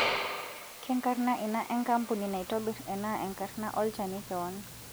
Kenkarna ina enkampuni naitobirr ana enkarna olchani kewan?